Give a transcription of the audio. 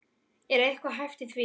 Er eitthvað hæft í því?